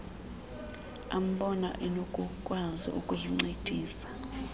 ambona enokukwazi ukuyincedisa